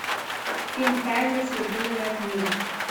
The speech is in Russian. фильм таймлесс рубиновая книга